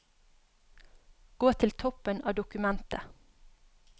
Gå til toppen av dokumentet